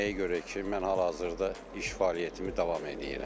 Nəyə görə ki, mən hal-hazırda iş fəaliyyətimi davam eləyirəm.